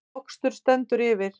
Mokstur stendur yfir